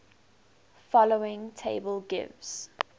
following table gives